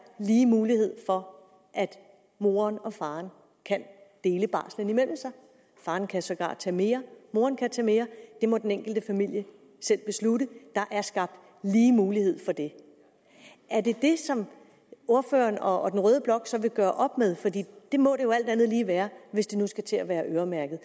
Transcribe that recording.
lige mulighed for at moren og faren kan dele barslen imellem sig faren kan sågar tage mere og moren kan tage mere det må den enkelte familie selv beslutte der er skabt lige mulighed for det er det det som ordføreren og den røde blok så vil gøre op med for det det må det jo alt andet lige være hvis det nu skal til at være øremærket